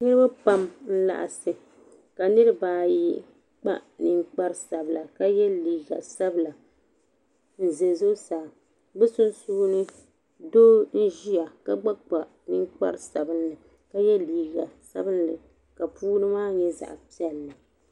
Niriba pam n-laɣisi ka niriba ayi kpa ninkpar'sabila ka ye liiga sabila n-ʒe zuɣusaa bɛ sunsuuni doo n-ʒiya ka gba kpa ninkpar'sabinli ka ye liiga sabinli ka puuni maa nyɛ zaɣ'piɛlli.